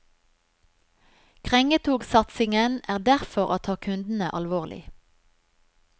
Krengetogsatsingen er derfor å ta kundene alvorlig.